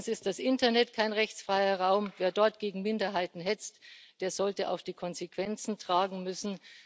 Erstens ist das Internet kein rechtsfreier Raum Wer dort gegen Minderheiten hetzt, der sollte auch die Konsequenzen tragen müssen.